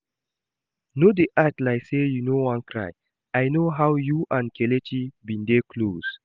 No dey act like say you no wan cry, I no how you and Kelechi bin dey close